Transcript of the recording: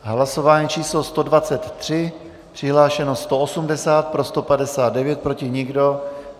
Hlasování číslo 123, přihlášeno 180, pro 159, proti nikdo.